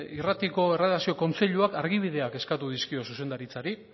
irratiko erredakzio kontseiluak argibideak eskatu dizkio zuzendaritzari